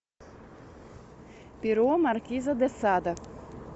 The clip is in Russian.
перо маркиза де сада